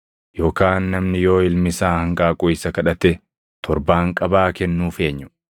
Yookaan namni yoo ilmi isaa hanqaaquu isa kadhate torbaanqabaa kennuuf eenyu?